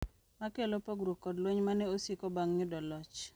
Makelo pogruok kod lweny mane osiko bang' yudo loch